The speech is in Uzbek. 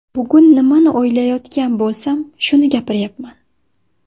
Bugun nimani o‘ylayotgan bo‘lsam, shuni gapiryapman.